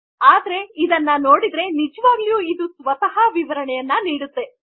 ಆದರೆ ಇದನ್ನು ನೋಡಿದರೆ ಜವಾಗಲು ಇದು ಸ್ವತಃ ವಿವರಣೆ ನೀಡುವುದು